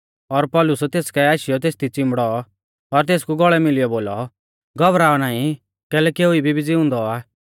पर पौलुस तेस काऐ आशीयौ तेसदी चिंबड़ौ और तेसकु गौल़ै मिलियौ बोलौ घौबराऔ नाईं कैलैकि एऊ इबी भी ज़िउंदौ आ